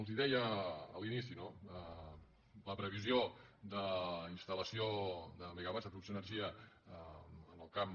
els ho deia a l’inici no la previsió d’instal·lació de mega·watts de producció d’energia en el camp